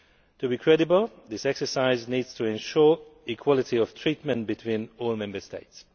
To be credible, this exercise needs to ensure equality of treatment between all Member States.